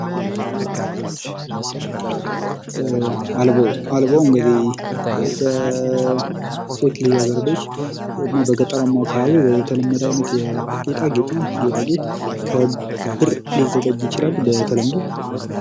አልቦ እንግዲህ በሴትልጃገረዶች በገጠራማ አካባቢ የተለመደ አይነት ጌጣጌጥ ነው ይህ ጌጣጌጥ ከብር ሊዘጋጅ ይችላል በተለምዶ።